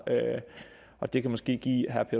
og det kan måske